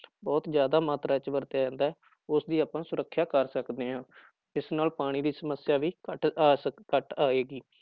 ਬਹੁਤ ਜ਼ਿਆਦਾ ਮਾਤਰਾ ਚ ਵਰਤਿਆ ਜਾਂਦਾ ਹੈ, ਉਸਦੀ ਆਪਾਂ ਸੁਰੱਖਿਆ ਕਰ ਸਕਦੇ ਹਾਂ ਇਸ ਨਾਲ ਪਾਣੀ ਦੀ ਸਮੱਸਿਆ ਵੀ ਘੱਟ ਆ ਸਕ ਘੱਟ ਆਏਗੀ।